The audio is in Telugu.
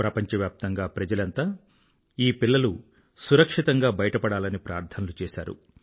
ప్రపంచవ్యాప్తంగా ప్రజలంతా ఈ పిల్లలు సురక్షితంగా బయట పడాలని ప్రార్థనలు చేశారు